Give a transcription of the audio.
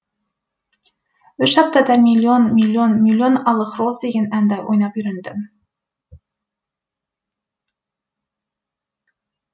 үш аптада миллион миллион миллион алых роз деген әнді ойнап үйрендім